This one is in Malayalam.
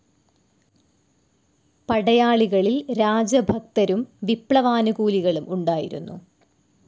പടയാളികളിൽ രാജഭക്തരും വിപ്ലവാനുകൂലികളും ഉണ്ടായിരുന്നു.